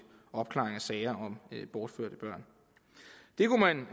opklaring af sager om bortførte børn det kunne man